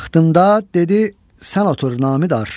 Taxtımda dedi: "Sən otur, namidar!